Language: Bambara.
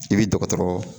I bi dɔgɔtɔrɔ